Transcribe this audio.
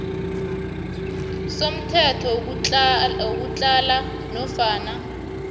somthetho wokutlhala nofana